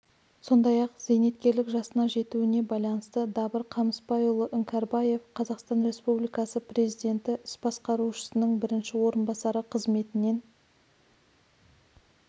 сондай-ақ зейнеткерлік жасына жетуіне байланысты дабыр қамысбайұлы іңкәрбаев қазақстан республикасы президенті іс басқарушысының бірінші орынбасары қызметінен